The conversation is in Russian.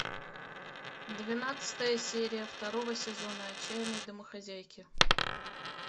двенадцатая серия второго сезона отчаянные домохозяйки